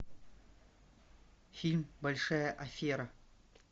фильм большая афера